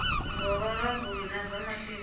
zwa vhulanguli na zwa masheleni